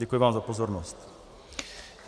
Děkuji vám za pozornost.